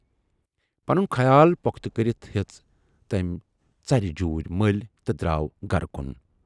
پنُن خیال پۅختہٕ کٔرِتھ ہٮ۪ژ تمٔۍ ژرِ جوٗرۍ مٔلۍ تہٕ دراو گرٕ کُن۔